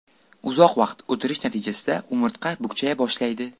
Uzoq vaqt o‘tirish natijasida umurtqa bukchaya boshlaydi.